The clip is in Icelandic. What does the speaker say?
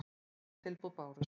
Sex tilboð bárust.